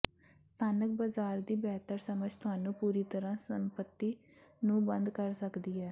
ਸਥਾਨਕ ਬਾਜ਼ਾਰ ਦੀ ਬਿਹਤਰ ਸਮਝ ਤੁਹਾਨੂੰ ਪੂਰੀ ਤਰਾਂ ਸੰਪਤੀ ਨੂੰ ਬੰਦ ਕਰ ਸਕਦੀ ਹੈ